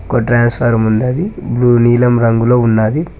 ఒక ట్రాన్స్ఫార్మం ఉన్నది బ్లు నీలం రంగులో ఉన్నాది.